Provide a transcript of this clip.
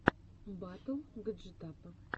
батл гаджетапа